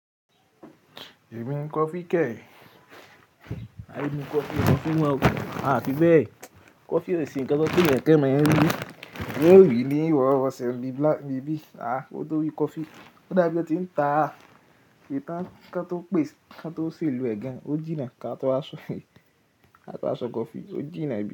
Èmi ń mu coffee kẹ́ẹ̀ẹ́. Àì mu coffee, coffee bawo. À fí bẹ́ẹ̀? Coffee ò sì ń kẹ́kẹ́ mọ ẹ rí. Òwe ni ìrowọ-rọsẹ̀ ni bí, à mo tó rí coffee. Ó dàbí ẹ ti ń ta. Ìta kan tó pè, kan tó ṣèlo ẹ gan. Ó jìnnà ká tó wa ṣọ, ka to wa so coffee, ó jìnnà bi.